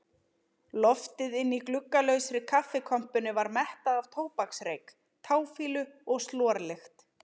Loftið inni í gluggalausri kaffikompunni var mettað af tóbaksreyk, táfýlu og slorlykt.